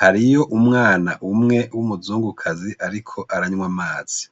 hariyo umwana umwe w' umuzungukazi ariko aranwa amazi.